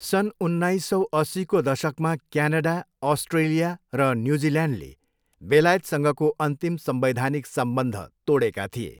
सन् उन्नाइस सौ अस्सीको दशकमा क्यानाडा, अस्ट्रेलिया र न्युजिल्यान्ड बेलायतसँगको अन्तिम संवैधानिक सम्बन्ध तोडेका थिए।